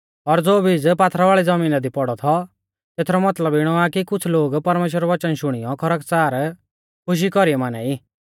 और ज़ो बीज पथरियाल़ी ज़मीना दी पौड़ौ थौ तेथरौ मतलब इणौ आ कि कुछ़ लोग परमेश्‍वरा रौ वचन शुणियौ खरकच़ार खुशी कौरीऐ माना ई